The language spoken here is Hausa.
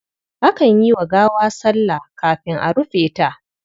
Akan yi wa gawa sallah kafin a rufe ta.